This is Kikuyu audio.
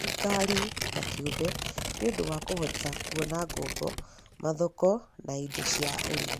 thirikari na kĩũmbe nĩ ũndũ wa kũhota kuona ngombo, mathoko na indo cia ũrĩmi